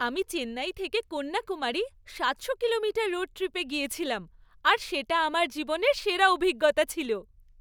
আমি চেন্নাই থেকে কন্যাকুমারী সাতশো কিলোমিটার রোড ট্রিপ এ গিয়েছিলাম আর সেটা আমার জীবনের সেরা অভিজ্ঞতা ছিল।